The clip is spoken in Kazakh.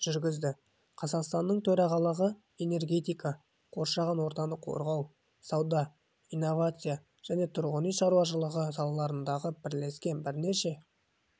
жүргізді қазақстанның төрағалығы энергетика қоршаған ортаны қорғау сауда инновация және тұрғын-үй шаруашылығы саласындағы бірлескен бірнеше